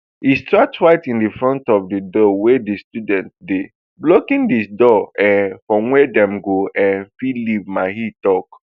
e start right in front of di door wia di students dey blocking di door um from wia dem go um fit leave mahi tok